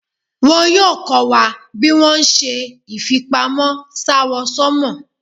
Wọ́n yóò kọ́ wa bí wón ṣe ìfipamọ́ s'áwọ̀sánmọ̀.